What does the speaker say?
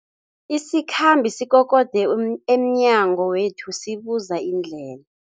Isikhambi sikokode um emnyango wethu sibuza indlela.